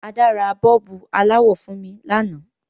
Ada ra bọ́ọ̀bù aláwọ̀ fun mi lanáà